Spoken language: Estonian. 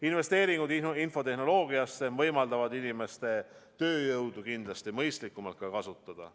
Investeeringud infotehnoloogiasse võimaldavad inimeste tööjõudu kindlasti mõistlikumalt kasutada.